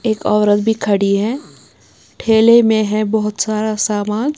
एक औरत भी खड़ी है ठेले में है बहोत सारा सामान--